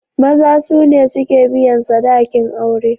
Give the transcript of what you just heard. Maza sune suke biyan sadakin aure.